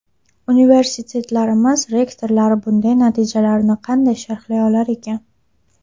Universitetlarimiz rektorlari bunday natijalarni qanday sharhlay olar ekan?